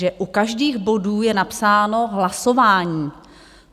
Že u každého bodu je napsáno hlasování.